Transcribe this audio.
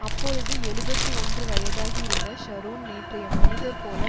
அப்பொழுது எழுபத்து ஒன்று வயதாகி இருந்த ஷரோன் நேற்றைய மனிதர் போல